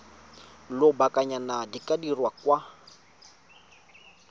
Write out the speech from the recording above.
lobakanyana di ka dirwa kwa